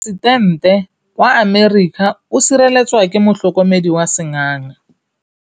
Poresitêntê wa Amerika o sireletswa ke motlhokomedi wa sengaga.